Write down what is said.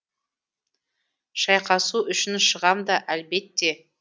шайқасу үшін шығам да әлбетте